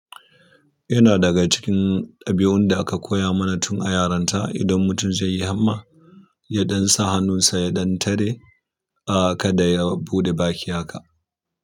Yana daga cikin ɗabi'un da aka koya mana tun a yaronta. Idan mutum zai yi hamma, ya ɗan sa hannun sa ya ɗan tare, ah kada ya buɗe baki haka.